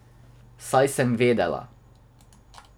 Saj sem vedela.